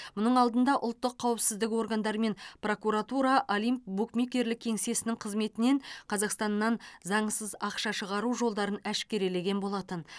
мұның алдында ұлттық қауіпсіздік органдары мен прокуратура олимп букмекерлік кеңсесінің қызметінен қазақстаннан заңсыз ақша шығару жолдарын әшкерелеген болатын